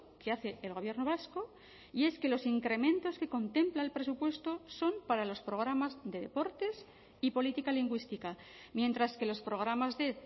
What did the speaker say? que hace el gobierno vasco y es que los incrementos que contempla el presupuesto son para los programas de deportes y política lingüística mientras que los programas de